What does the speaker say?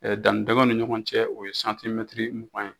danni dinkɛnw ni ɲɔgɔn cɛ o ye santimɛtiri mugan ye